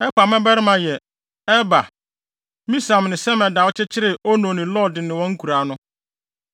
Elpaal mmabarima yɛ: Eber, Misam ne Semed a ɔkyekyeree Ono ne Lod ne wɔn nkuraa no,